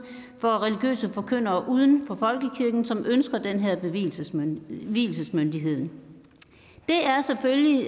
for religiøse forkyndere uden for folkekirken som ønsker den her vielsesmyndighed vielsesmyndighed det er selvfølgelig